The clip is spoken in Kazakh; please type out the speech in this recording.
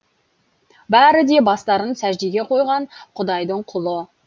бәрі де бастарын сәждеге қойған құдайдың құлы